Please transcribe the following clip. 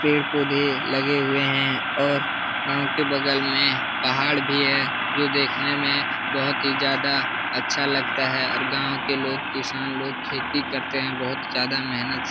पेड़-पौधे लगे हुए हैं और गांव के बगल में पहाड़ भी है जो देखने में बहुत ही ज्यादा अच्छा लगता है और गांव के लोग किसान लोग खेती करते हैं बहुत ज्यादा मेहनत से --